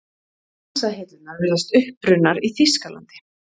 Hansahillurnar virðast upprunnar í Þýskalandi.